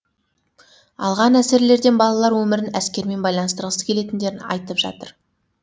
алған әсерлерден балалар өмірін әскермен байланыстырғысы келетіндерін айтып жатыр